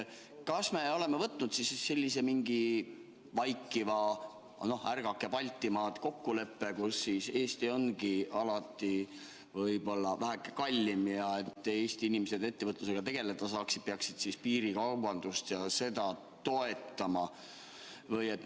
Kas me oleme sõlminud mingi vaikiva "Ärgake, Baltimaad!" kokkuleppe, et Eesti ongi alati väheke kallim ja et Eesti inimesed ettevõtlusega tegeleda saaksid, peaks piirikaubandust toetama?